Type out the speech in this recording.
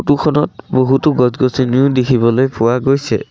Photo খনত বহুতো গছ-গছনিও দেখিবলে পোৱা গৈছে।